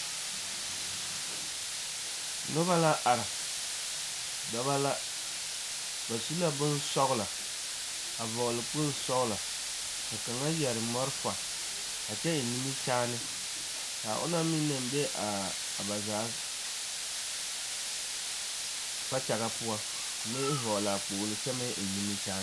Noba la are dɔbɔ la ba su la bonsɔglɔ a vɔgle kpoli sɔglɔ ka kaŋa yare malfa a kyɛ eŋ nimikyaane ka onaŋ meŋ na be ba zaa kpakyagaŋ poɔ meŋ hɔɔle a kpoli kyɛ meŋ eŋ nimikyaane.